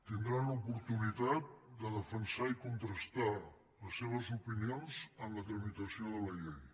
tindran l’oportunitat de defensar i contrastar les seves opinions en la tramitació de la llei